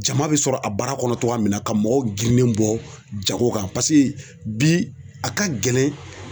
Jama bɛ sɔrɔ a baara kɔnɔ cogoya min na ka mɔgɔw girinnen bɔ jago kan paseke bi a ka gɛlɛn